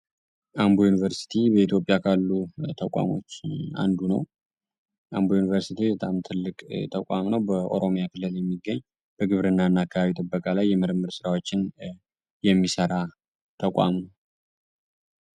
አምቦ ዩኒቨርሲቲ በኢትዮጵያ ካሉ ተቋሞች አንዱ ነው ዩኒቨርሲቲ ተቋም ነው በኦሮሚያ ክልል የሚገኝ በግብርና እና አካባቢ ጥበቃ ላይ የምርምር ስራዎችን የሚሰራ ተቋሙ